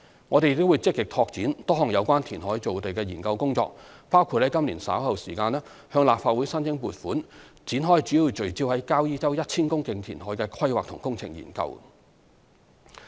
我們亦會積極拓展多項有關填海造地的研究工作，包括於今年稍後時間，向立法會申請撥款展開主要聚焦在交椅洲 1,000 公頃填海的規劃及工程研究。